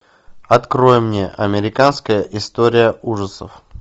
открой мне американская история ужасов